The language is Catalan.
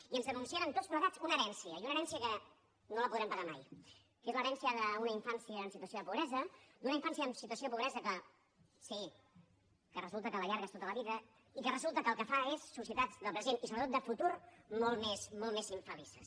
i ens denunciaren tots plegats una herència i una herència que no la podrem pagar mai que és l’herència d’una infància en situació de pobresa d’una infància en situació de pobresa que sí resulta que l’allargues tota la vida i que resulta que el que fa és societats del present i sobretot de futur molt més infelices